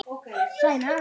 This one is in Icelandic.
Góða ferð Vigfús minn.